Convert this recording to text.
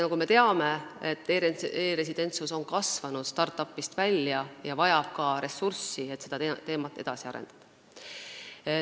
Nagu me teame, e-residentsus on kasvanud start-up'ist välja ja vajab ka ressursse, et saaks seda teemat edasi arendada.